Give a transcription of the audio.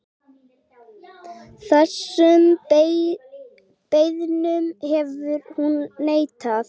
Þessum beiðnum hefur hún neitað.